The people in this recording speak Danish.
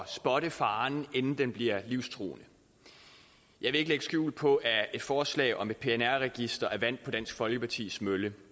spotte faren inden den bliver livstruende jeg vil ikke lægge skjul på at et forslag om et pnr register er vand på dansk folkepartis mølle